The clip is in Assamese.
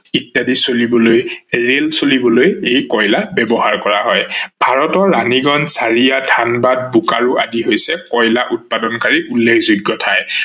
ইত্যাদি চলিবলৈ, ৰেইল চলিবলৈ এই কয়লা ব্যৱহাৰ কৰা হয়। ভাৰতৰ ৰানীগঞ্জ, হাৰিয়া, থানবাদ, বুকাৰু আদি হৈছে কয়লা উৎপাদনকাৰী উল্লেখযোগ্য ঠাই।